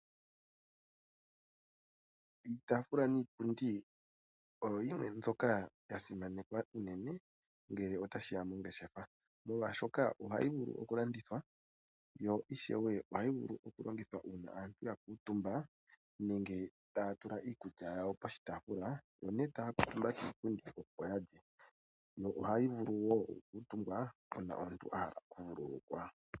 Iitaafula niipundi oyo yimwe mbyoka yasimanekwa uunene ngele tashiya pongeshefa, molwashoka ohayi vulu okulandithwa yo ishewe ohayi vulu okulongithwa uuna aantu yakuutumba nenge taya tula iikulya yawo poshitaafula. Oko ne taya kuutumba kiipundi hoka opo yalye, yo ohayi vulu wo okukuutumbwa uuna omuntu ahala okuvululukwa.